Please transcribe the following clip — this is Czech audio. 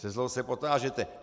Se zlou se potážete.